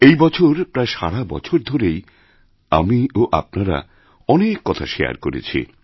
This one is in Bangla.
এই বছর প্রায় সারা বছর ধরেই আমি ও আপনারা অনেক কথা শেয়ার করেছি